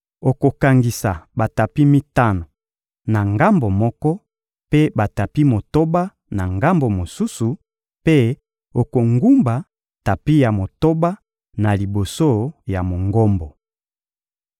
Okokangisa batapi mitano na ngambo moko, mpe batapi motoba na ngambo mosusu; mpe okogumba tapi ya motoba na liboso ya Mongombo.